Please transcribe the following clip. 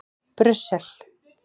Brussel